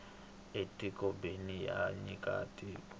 e ti kobeni ra nyika tinyiko